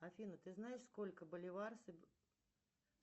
афина ты знаешь сколько боливар